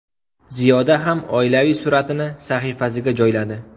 Ziyoda ham oilaviy suratini sahifasiga joyladi.